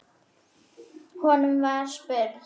Honum var spurn.